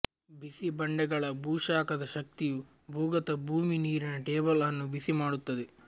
ಬಿಸಿ ಬಂಡೆಗಳ ಭೂಶಾಖದ ಶಕ್ತಿಯು ಭೂಗತ ಭೂಮಿ ನೀರಿನ ಟೇಬಲ್ ಅನ್ನು ಬಿಸಿಮಾಡುತ್ತದೆ